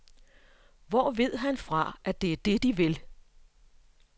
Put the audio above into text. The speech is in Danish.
Hvor ved han fra, at det er det de vil.